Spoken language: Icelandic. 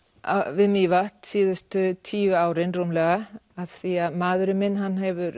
við Mývatn síðustu tíu árin rúmlega af því að maðurinn minn hann hefur